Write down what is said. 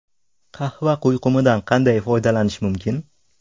Qahva quyqumidan qanday foydalanish mumkin?.